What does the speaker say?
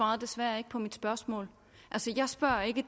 må